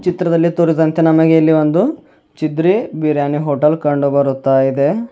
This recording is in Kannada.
ಚಿತ್ರದಲ್ಲಿ ತೋರಿದಂತೆ ನಮಗೆ ಇಲ್ಲಿ ಒಂದು ಚಿದ್ರೀ ಬಿರಿಯಾನಿ ಹೋಟೆಲ್ ಕಂಡುಬರುತ್ತಯಿದೆ.